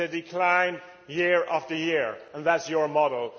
It has declined year after year and that's your model?